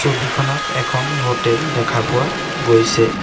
ছবিখনত এখন হোটেল দেখা পোৱা গৈছে।